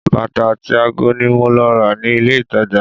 Bàtà àti ago ni mo lọ rà ní ilé-ìtàjà